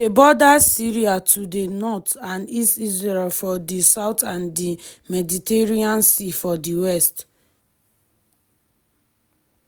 lebanon na small kontri wey get like 5.5 million pipo for inside.